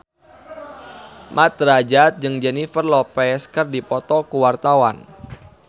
Mat Drajat jeung Jennifer Lopez keur dipoto ku wartawan